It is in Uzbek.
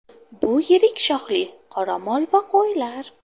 Bu yirik shoxli qoramol va qo‘ylar.